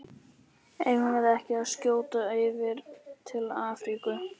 Eigum við ekki að skjótast yfir til Afríku?